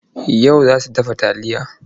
Yau za su dafa taliya.